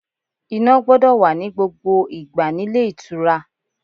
Iná gbọ́dọ̀ wà ní gbogbo ìgbà nílé ìtura.